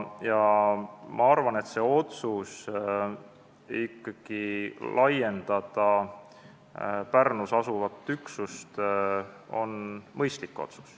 Ma arvan, et otsus laiendada Pärnus asuvat üksust on mõistlik.